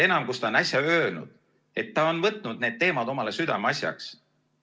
Seda enam, kui ta on äsja öelnud, et ta on võtnud need teemad omale südameasjaks.